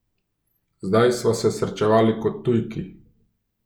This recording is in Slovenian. Zdaj sva se srečevali kot tujki.